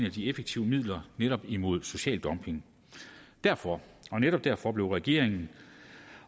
af de effektive midler netop imod social dumping derfor og netop derfor blev regeringen